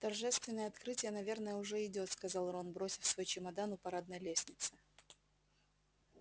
торжественное открытие наверное уже идёт сказал рон бросив свой чемодан у парадной лестницы